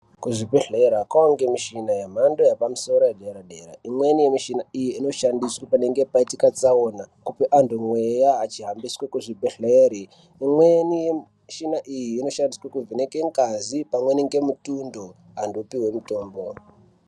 Kuzvibhedhlera kwakuwanikwa mishina yemhando yepamusoro yedera dera imweni yemushina iyi inoshandiswa panenge paitika tsaona eipa vantu mweya vachihambiswa kuzvibhedhlera imweni yemuchina iyi inoshandiswa kuvheneka ngazi pamweni nemutundo vantu vopihwa mutombo.